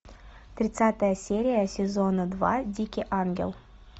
тридцатая серия сезона два дикий ангел